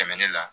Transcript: Tɛmɛnen la